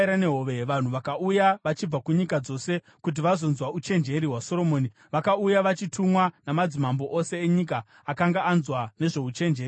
Vanhu vakauya vachibva kunyika dzose kuti vazonzwa uchenjeri hwaSoromoni; vakauya vachitumwa namadzimambo ose enyika akanga anzwa nezvouchenjeri hwake.